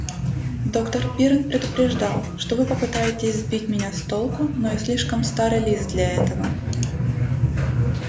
доктор пиренн предупреждал что вы попытаетесь сбить меня с толку но я слишком старый лис для этого